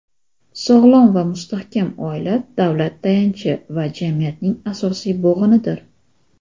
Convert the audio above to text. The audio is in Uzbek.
Sog‘lom va mustahkam oila – davlat tayanchi va jamiyatning asosiy bo‘g‘inidir.